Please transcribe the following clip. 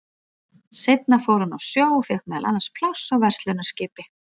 Seinna fór hann á sjó og fékk meðal annars pláss á verslunarskipi.